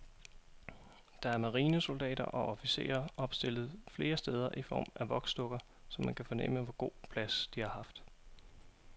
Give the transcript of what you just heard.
Der er marinesoldater og officerer opstillet flere steder i form af voksdukker, så man kan fornemme, hvor god plads de har haft.